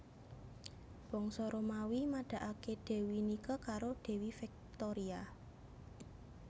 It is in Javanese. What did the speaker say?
Bangsa Romawi madakake Dewi Nike karo Dewi Victoria